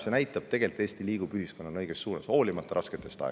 See näitab, et tegelikult Eesti liigub ühiskonnana õiges suunas, hoolimata rasketest aegadest.